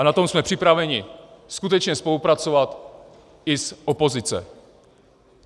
A na tom jsme připraveni skutečně spolupracovat i z opozice.